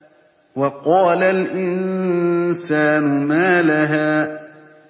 وَقَالَ الْإِنسَانُ مَا لَهَا